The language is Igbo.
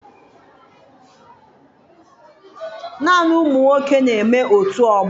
Naanị ụmụ nwoke na-eme otù ọgbọ